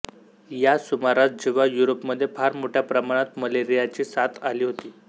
या सुमारास जेव्हा युरोपमध्ये फार मोठ्या प्रमाणात मलेरियाची साथ आली होती